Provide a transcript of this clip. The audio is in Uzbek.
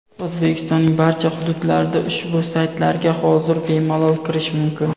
O‘zbekistonning barcha hududlarida ushbu saytlarga hozir bemalol kirish mumkin.